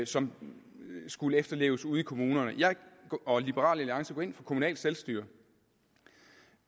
som skulle efterleves ude i kommunerne jeg og liberal alliance går ind for kommunalt selvstyre og